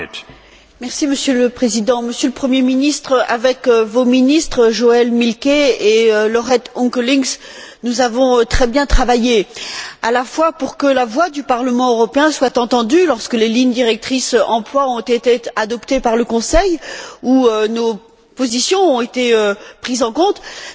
Monsieur le Président, Monsieur le Premier ministre, avec vos ministres, Joëlle Milquet et Laurette Onkelinx, nous avons très bien travaillé à la fois pour que la voix du Parlement européen soit entendue lorsque les lignes directrices emploi ont été adoptées par le Conseil, où nos positions ont été prises en compte, mais aussi